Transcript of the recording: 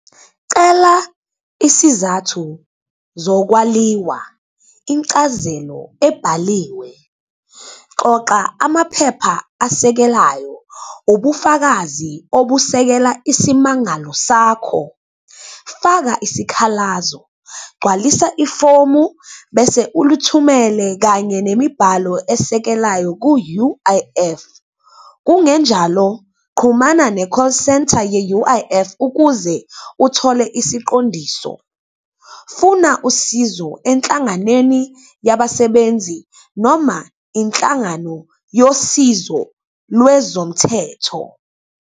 Cela isizathu zokwaliwa, incazelo ebhaliwe, qoqa amaphepha asekelayo, ubufakazi obusekela isimangalo sakho, faka isikhalazo, gcwalisa ifomu bese ulithumele kanye nemibhalo esekelayo ku-U_I_F. Kungenjalo, qhumana ne-call centre ye-U_I_F ukuze uthole isiqondiso. Funa usizo enhlanganweni yabasebenzi, noma inhlangano yosizo lwezomthetho.